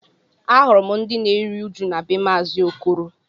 Ahụrụ m ndị na-eru uju na be maazi Okoro